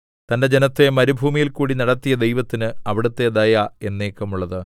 തന്റെ ജനത്തെ മരുഭൂമിയിൽക്കൂടി നടത്തിയ ദൈവത്തിന് അവിടുത്തെ ദയ എന്നേക്കുമുള്ളത്